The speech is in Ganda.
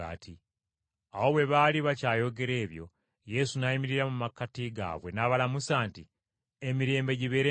Awo bwe baali bakyayogera ebyo Yesu n’ayimirira mu makkati gaabwe n’abalamusa nti, “Emirembe gibeere nammwe!”